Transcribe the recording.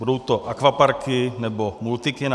Budou to akvaparky nebo multikina?